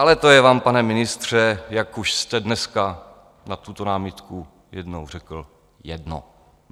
Ale to je vám, pane ministře, jak už jste dnes na tuto námitku jednou řekl, jedno.